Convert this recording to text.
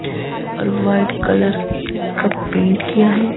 और white colour का paint किया है।